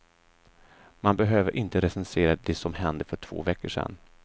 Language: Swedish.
Man behöver inte recensera det som hände för två veckor sedan.